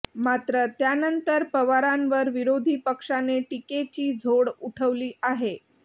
मात्र त्यानंतर पवारांवर विरोधी पक्षाने टीकेची झोड उठवली आहे